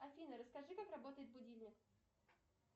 афина расскажи как работает будильник